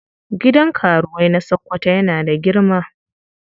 Gidan karuwai na Sokoto yana da girma.